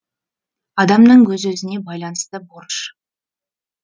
адамның өз өзіне байланысты борыш